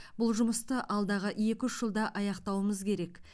бұл жұмысты алдағы екі үш жылда аяқтауымыз керек